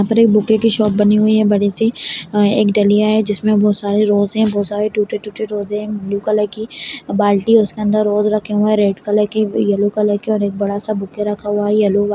यहाँ पे एक बुके की शॉप बनी हुई है बड़ी सी एक डलिया है जिसमे बहोत सारे रोज हैं बहोत सारे टूटे टूटे रोज हैं एक ब्लू कलर की बाल्टी है उसके अंदर रोज रखे हुए हैं रेड कलर के येल्लो कलर के एक बड़ा सा बुके रखा हुआ है येलो --